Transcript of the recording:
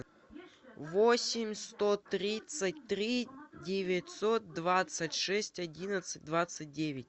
восемь сто тридцать три девятьсот двадцать шесть одиннадцать двадцать девять